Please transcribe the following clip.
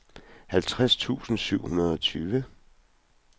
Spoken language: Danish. halvtreds tusind syv hundrede og tyve